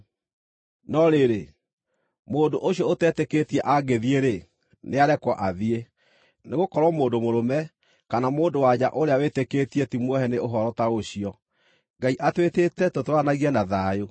No rĩrĩ, mũndũ ũcio ũtetĩkĩtie angĩthiĩ-rĩ, nĩarekwo athiĩ. Nĩgũkorwo mũndũ mũrũme, kana mũndũ-wa-nja ũrĩa wĩtĩkĩtie ti muohe nĩ ũhoro ta ũcio; Ngai atwĩtĩte tũtũũranagie na thayũ.